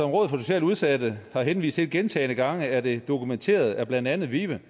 rådet for socialt udsatte har henvist gentagende gange er det dokumenteret af blandt andet vive